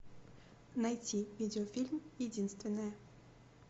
найти видеофильм единственная